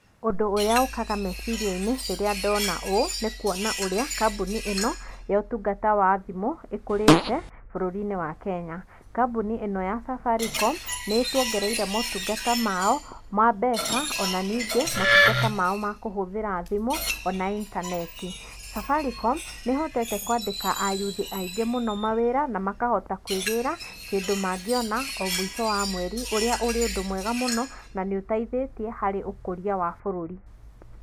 Ũndũ ũrĩa ũkaga meciriainĩ rĩrĩa ndona ũũ nĩ kwona ũrĩa kambuni ĩno ya ũtungata wa thimũ ĩkũrĩte bũrũrinĩ wa Kenya, kambuni ĩno ya Safaricom nĩĩtwongereire motungata mao ma mbeca ona ningĩ motungata mao ma kũhũthĩra thimũ ona intaneti, Safaricom nĩhotete kwandĩka ayuthi aingĩ mũno mawĩra na makahota kwĩgĩra kĩndũ mangĩona omũico wa mweri ũrĩa ũrĩ ũndũ mwega mũno na nĩ ũteithĩtie harĩ ũkũria wa bũrũri.